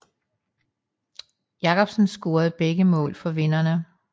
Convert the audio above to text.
Jacobsen scorede begge mål for vinderne